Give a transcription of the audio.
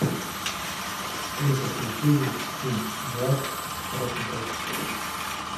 алиса включи фильм власть в хорошем качестве